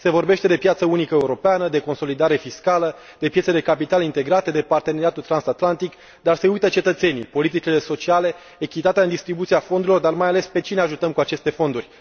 Se vorbește de piață unică europeană, de consolidare fiscală, de piețe de capital integrate, de parteneriatul transatlantic, dar se uită cetățenii, politicile sociale, echitatea în distribuția fondurilor, dar mai ales pe cine ajutăm cu aceste fonduri.